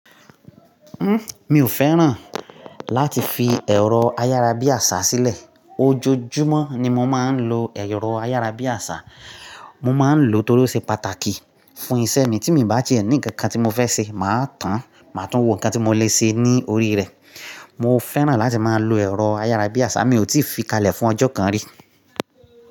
Mi ò fẹ́ràn láti fi ẹ̀rọ ayara bí àṣà sílẹ̀. Ojoojúmọ́ ni mo máa ń lo ẹ̀rọ ayara bí àṣà. Mo máa ń lò ó tórí ó ṣe pàtàkì fún iṣẹ́ mi. Tí mi bá ti è ní nǹkan kan tí mo fẹ́ ṣe, màá tàn, màá tún wo nǹkan tí mo lè ṣe ní orí rẹ̀. Mo fẹ́ràn láti máa lo ẹ̀rọ ayara bí àṣà, mi ò tíì fi kalẹ̀ fún ọjọ́ kan rí.